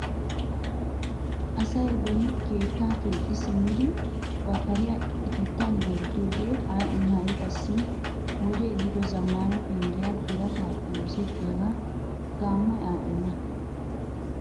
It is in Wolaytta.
Asay beni keettaa keexxi simmidi ba kariyaa ipittaan gorddiyoogee adhdhin ha'i qassi wodee eehido zammaana penggiyaa birataappe osettiyaaga gaammoy adhenna!